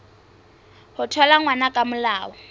ho thola ngwana ka molao